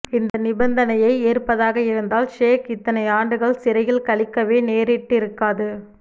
இந்த நிபந்தனையை ஏற்பதாக இருந்தால் ஷேக் இத்தனை ஆண்டுகள் சிறையில் கழிக்கவே நேரிட்டிருக்காது